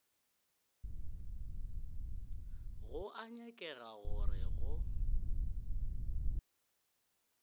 go a nyakega gore go